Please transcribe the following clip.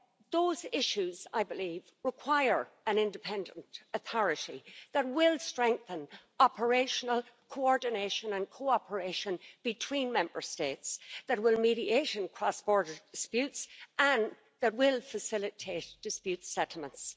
Those issues, I believe, require an independent authority that will strengthen operational coordination and cooperation between Member States, mediate in cross border disputes and facilitate dispute settlements.